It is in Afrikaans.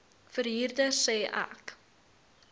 verhuurder sê ek